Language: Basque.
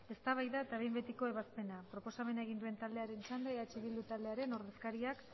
eztabaida eta behin betiko proposamena egin duen taldearen txanda eh bildu taldearen ordezkariak